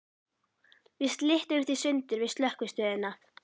Við slitnuðum í sundur við Slökkvistöðina.